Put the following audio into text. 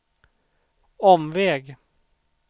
omväg